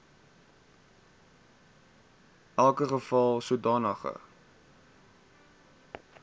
welke geval sodanige